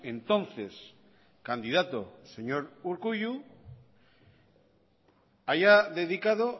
entonces candidato señor urkullu haya dedicado